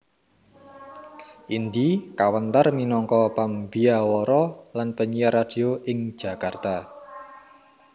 Indy kawentar minangka pambyawara lan penyiar radio ing Jakarta